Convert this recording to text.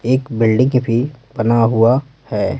एक बिल्डिंग भी बना हुआ है।